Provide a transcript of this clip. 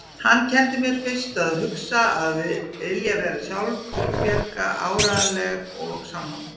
Hann kenndi mér fyrst að hugsa, að vilja vera sjálfbjarga, áreiðanleg og sannorð.